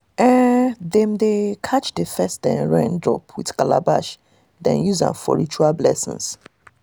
we dey rub camwood for our palms before we touch grains wey we don harvest.